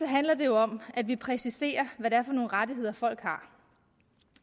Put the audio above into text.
handler det jo om at vi præciserer hvad det er for nogle rettigheder folk har